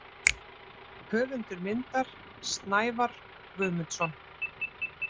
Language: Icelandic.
Höfundur myndar: Snævar Guðmundsson.